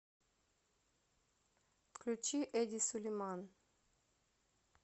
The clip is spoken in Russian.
включи эди сулейман